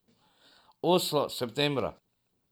Oslo septembra.